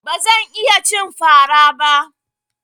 Ba zan iya cin fara ba.